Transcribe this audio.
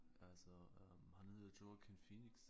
Altså øh han hedder Joaquin Phoenix